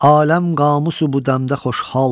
Aləm qamusu bu dəmdə xoşhal.